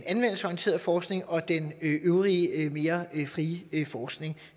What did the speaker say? anvendelsesorienterede forskning og den øvrige mere frie forskning